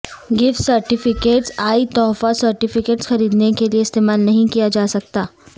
gift certificates e تحفہ certificates خریدنے کے لئے استعمال نہیں کیا جا سکتا